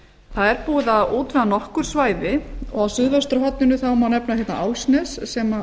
það er búið að útvega nokkur svæði og á suðvesturhorninu má nefna álfsnes sem